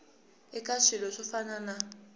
eka swilo swo fana na